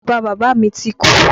Bàba bàbá mi ti kú.